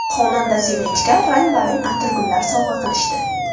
Xonanda Sevinchga rang-barang atirgullar sovg‘a qilishdi.